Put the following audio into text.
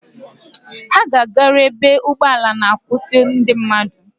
Ha ga-agaru ebe ụgbọala ma-akwụsị ndị mmadụ.